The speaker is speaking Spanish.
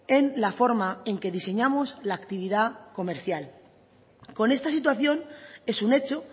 en la forma en que diseñamos la actividad comercial con esta situación es un hecho